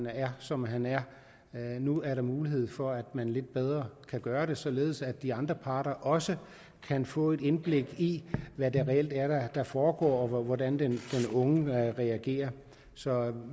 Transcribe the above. er som han er nu er der mulighed for at man lidt bedre kan gøre det således at de andre parter også kan få et indblik i hvad det reelt er der foregår og hvordan den unge reagerer så